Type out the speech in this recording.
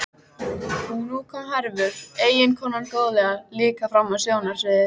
Og nú kom Hervör, eiginkonan góðlega, líka fram á sjónarsviðið.